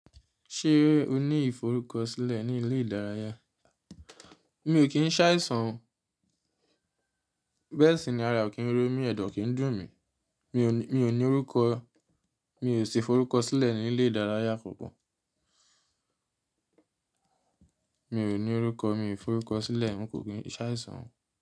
Ṣé o ní ìforúkọ sílẹ̀ ní ilé ìdárayá? Mi ò kí ń ṣàìsàn o. Bẹ́ẹ̀ sì ni ara ò kí ń ro mí, ẹ̀dọ̀ ò kì ń dùn mí. Mi ò ní orúkọ, mi ò sì forúkọ sílẹ̀ ní ilé ìdárayá kankan. Mi ò ní orúkọ, mi forúkọ sílẹ̀, un kò kí ń ṣàìsàn.